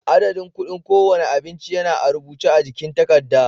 Adadin kuɗin kowane abinci yana a rubuce a jikin takarda.